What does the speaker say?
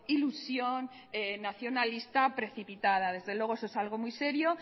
ilusión nacionalista precipitada desde luego eso es algo muy serio